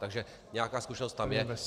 Takže nějaká zkušenost tam je.